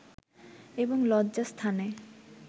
এবং লজ্জাস্থানে